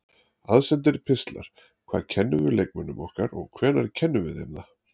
Aðsendir pistlar Hvað kennum við leikmönnunum okkar og hvenær kennum við þeim það?